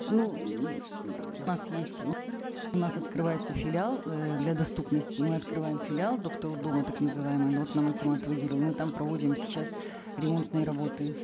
ну есть у нас открывается филиал э для доступности мы открываем филиал доктор у дома так называемый ну вот нам акимат выделил мы там проводим сейчас ремонтные работы